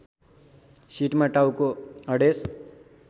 सिटमा टाउको अडेस